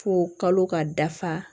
Fo kalo ka dafa